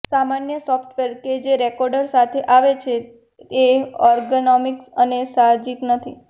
સામાન્ય સોફ્ટવેર કે જે રેકોર્ડર સાથે આવે છે એ અર્ગનોમિક્સ અને સાહજિક નથી